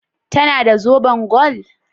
Ta na da zoben gwal?